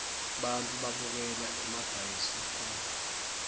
bantfu babukela emabhayisikobo